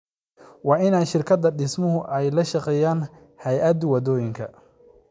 Waa in shirkadda dhismuhu ay la shaqeeyaan hay’adda waddooyinka.